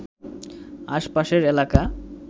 আশপাশের এলাকা